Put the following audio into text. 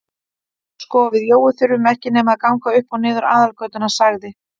Sko við Jói þurfum ekki nema að ganga upp og niður aðalgötuna sagði